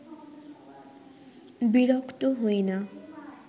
বিরক্ত হই না